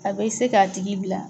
A bɛ se k'a tigi bila